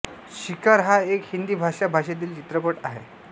शिकार हा एक हिंदी भाषा भाषेतील चित्रपट आहे